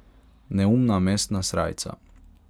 Neumna mestna srajca.